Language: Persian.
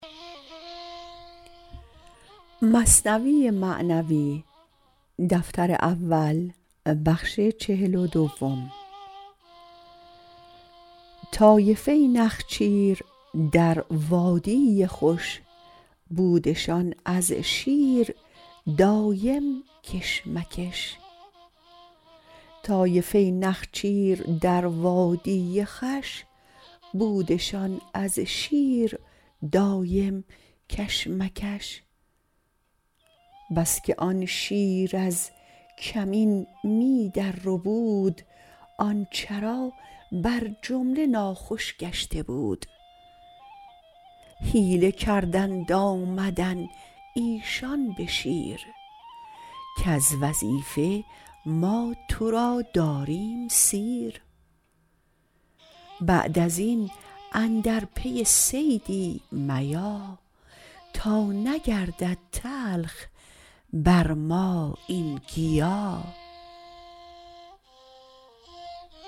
طایفه نخچیر در وادی خوش بودشان از شیر دایم کش مکش بس که آن شیر از کمین می در ربود آن چرا بر جمله ناخوش گشته بود حیله کردند آمدند ایشان بشیر کز وظیفه ما ترا داریم سیر بعد ازین اندر پی صیدی میا تا نگردد تلخ بر ما این گیا